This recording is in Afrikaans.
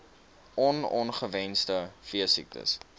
on ongewenste veesiektes